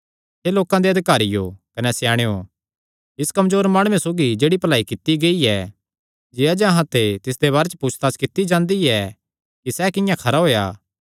हे लोकां दे अधिकारियो कने स्याणेयो इस कमजोर माणुये सौगी जेह्ड़ी भलाई कित्ती गेई ऐ जे अज्ज अहां ते तिसदे बारे च पुछताछ कित्ती जांदी ऐ कि सैह़ किंआं खरा होएया